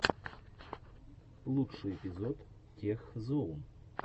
лучший эпизод тех зоун